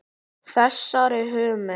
Þessari hugmynd